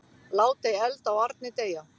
Lát ei eld á arni deyja.